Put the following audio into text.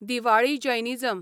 Diwali Jainism